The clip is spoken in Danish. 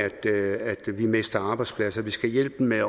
vi mister arbejdspladser vi skal hjælpe dem med